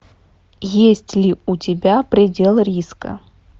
есть ли у тебя предел риска